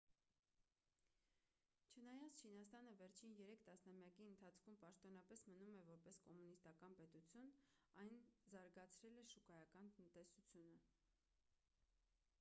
չնայած չինաստանը վերջին երեք տասնամյակի ընթացքում պաշտոնապես մնում է որպես կոմունիստական պետություն այն զարգացրել է շուկայական տնտեսությունը